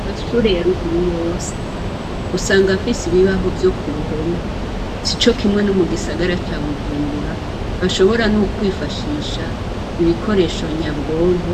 Aamashure ya ruguru yose usanga afise ibibaho vyo ku ruhome. Sico kimwe no mugisagara ca Bujumbura, bashobora n'ukwifashisha ibikoresho nyabwonko,